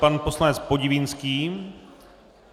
Pan poslanec Podivínský.